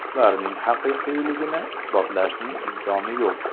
Ularning haqiqiyligini isbotlashning imkoni yo‘q.